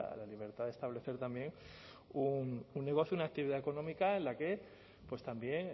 la libertad de establecer también un negocio una actividad económica en la que pues también